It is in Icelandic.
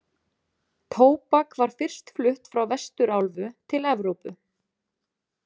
Tóbak var fyrst flutt frá Vesturálfu til Evrópu.